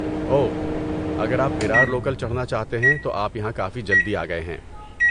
اوہ، اگر آپ ویرار لوکل چڑھنا چاہتے ہیں تو آپ یہاں کافی جلدی آ گئے ہیں۔